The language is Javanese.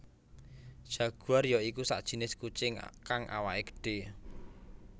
Jaguar ya iku sajinis kucing kang awaké gedhé